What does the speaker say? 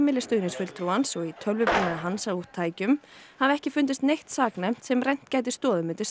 og í tölvubúnaði hans og tækjum hafi ekki fundist neitt saknæmt sem rennt gæti stoðum undir sekt hans